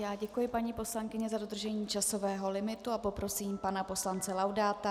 Já děkuji, paní poslankyně za dodržení časového limitu a poprosím pana poslance Laudáta.